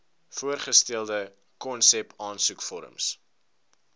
voorgestelde konsep aansoekvorms